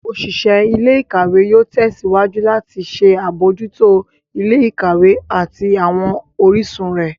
Oṣiṣẹ ilé-ìkawe yóò tèsíwájú lati ṣe abojuto ilé-ìkawe ati awọn orisun rẹ.